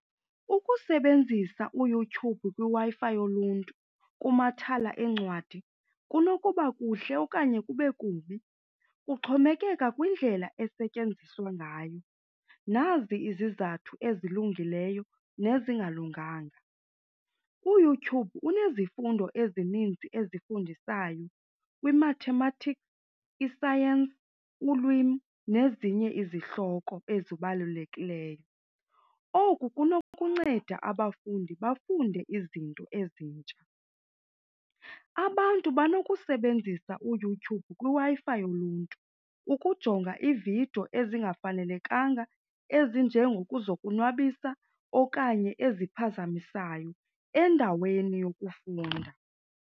Ukusebenzisa uYouTube kwiWi-Fi yoluntu kumathala eencwadi kunokuba kuhle okanye kube kubi, kuxhomekeka kwindlela esetyenziswa ngayo. Nazi izizathu ezilungileyo nezingalunganga. UYouTube unezifundo ezininzi ezifundisayo kwimathematiki, isayentsi ulwimi nezinye izihloko ezibalulekileyo. Oku kunokunceda abafundi bafunde izinto ezintsha. Abantu banokusebenzisa uYouTube kwiWi-Fi yoluntu ukujonga iividiyo ezingafanelekanga ezinjengokuzonwabisa okanye eziphazamisayo endaweni yokufunda.